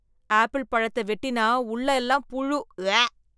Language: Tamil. ஆப்பிள் பழத்த வெட்டினா உள்ள எல்லாம் புழு, உவ்வே.